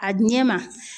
A ɲɛ ma